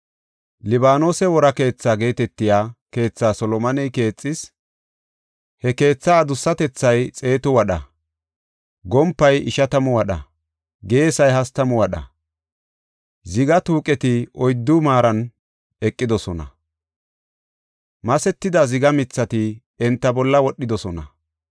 “Libaanose Woraa Keethaa” geetetiya keethaa Solomoney keexis; he keetha adussatethay xeetu wadha; gompay ishatamu wadha; geesay hastamu wadha. Ziga tuuqeti oyddu maaran eqidosona; masetida ziga mithati enta bolla wodhidosona;